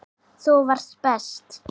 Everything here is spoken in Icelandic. Þú varst best.